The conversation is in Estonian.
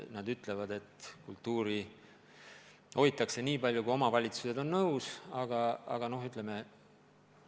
Nad ütlevad, et kultuuri hoitakse nii palju, kui omavalitsused on nõus hoidma.